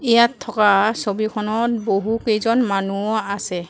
ইয়াত থকা ছবিখনত বহুকেইজন মানুহো আছে।